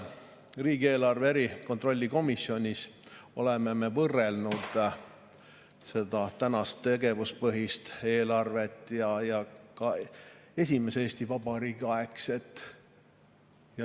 Riigieelarve kontrolli erikomisjonis oleme võrrelnud tänast tegevuspõhist eelarvet ja ka esimese Eesti Vabariigi aegset.